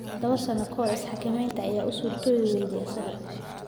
Toddoba sano ka hor, is-xakamaynta ayaa u suurtoobi wayday isaga.